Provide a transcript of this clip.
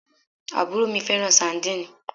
Àbúrò mi fẹ́ràn sandínì